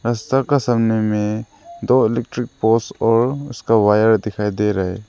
अह सब का सामने में दो इलेक्ट्रिक पोल्स और उसका वायर दिखाई दे रहा है।